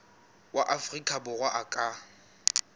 wa afrika borwa a ka